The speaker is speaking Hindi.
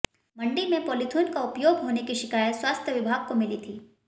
मंडी में पॉलीथिन का उपयोग होने की शिकायत स्वास्थ्य विभाग को मिली थी